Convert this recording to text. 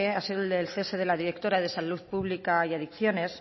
ha sido el del cese de la directora de salud pública y adicciones